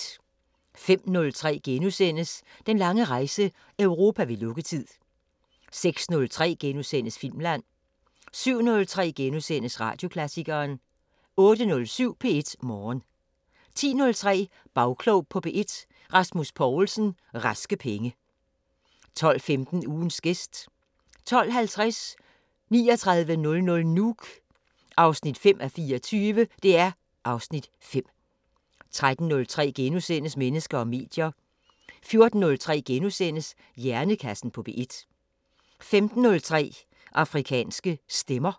05:03: Den lange rejse – Europa ved lukketid * 06:03: Filmland * 07:03: Radioklassikeren * 08:07: P1 Morgen 10:03: Bagklog på P1: Rasmus Poulsen – Raske Penge 12:15: Ugens gæst 12:50: 3900 Nuuk 5:24 (Afs. 5) 13:03: Mennesker og medier * 14:03: Hjernekassen på P1 * 15:03: Afrikanske Stemmer